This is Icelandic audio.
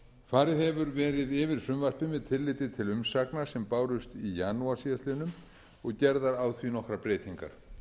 farið hefur verið yfir frumvarpið með tilliti til umsagna sem bárust í janúar síðastliðinn og gerðar á því nokkrar breytingar